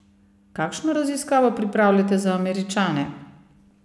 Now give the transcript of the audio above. Kakšno raziskavo pripravljate za Američane?